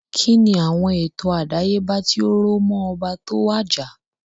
Kínni àwon ètò àdáyébá tí ó rò móó oba tó wàjà?